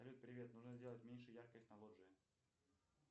салют привет нужно сделать меньше яркость на лоджии